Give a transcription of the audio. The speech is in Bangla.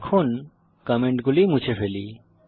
এখন কমেন্টগুলি মুছে ফেলি